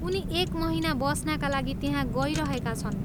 उनी एक महिना बस्नाका लागि त्यहाँ गइरहेका छन्।